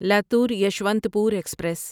Latur Yeshwantpur express